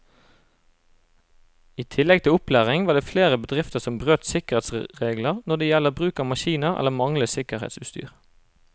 I tillegg til opplæring var det flere bedrifter som brøt sikkerhetsreglene når det gjelder bruk av maskiner eller manglende sikkerhetsutstyr.